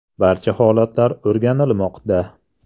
Barcha holatlar o‘rganilmoqda.